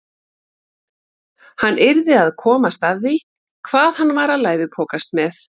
Hann yrði að komast að því hvað hann var að læðupokast með.